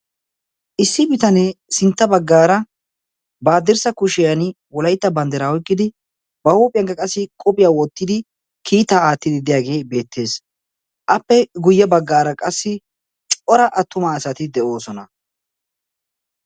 issi bitanee sintta baggaara ba haddirssa kushiyan wolaitta banddiraa oiqqidi ba huuphiyaakka qassi qophiyaa wottidi kiitaa aattidi deyaagee beettees .appe guyye baggaara qassi cora attumaa asati de7oosona.